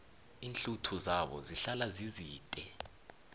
iinhluthu zabo zihlala zizide